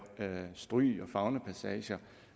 stryg og faunapassager